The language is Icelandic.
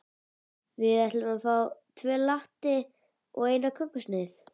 Við ætlum að fá tvo latte og eina kökusneið.